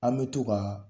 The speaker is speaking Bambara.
An bɛ to ka